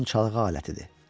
Onun çalğı alətidir.